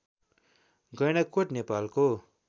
गैंडाकोट नेपालको